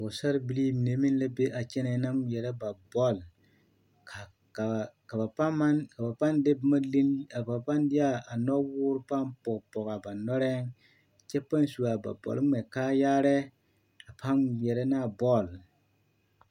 Pɔgesarre bilii mine meŋ la be a kyɛnɛɛ na ŋmeɛrɛ ba bɔl ka ba pãã de a nɔwoore pãã pɔge pɔge a ba nɔrɛɛ kyɛ pãã su a ba bɔl ŋmɛ kaayaarɛɛ a pãã ŋmeɛrɛ ne a bɔl.